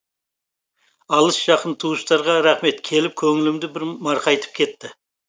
алыс жақын туыстарға рахмет келіп көңілімді бір марқайтып кетті